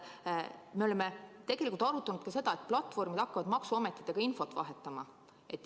Me oleme arutanud, et platvormid hakkavad maksuametitega infot vahetama.